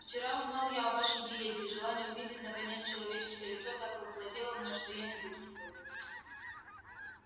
вчера узнал я о вашем приезде желание увидеть наконец человеческое лицо так овладело мною что я не вытерпел